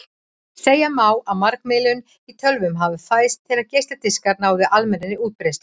Segja má að margmiðlun í tölvum hafi fæðst þegar geisladiskar náðu almennri útbreiðslu.